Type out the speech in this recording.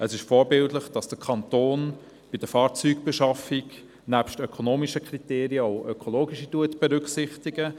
Es ist vorbildlich, wenn der Kanton bei der Fahrzeugbeschaffung nebst ökonomischen Kriterien auch ökologische Kriterien gewichtet.